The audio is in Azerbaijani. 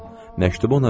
Məktubu ona verdim.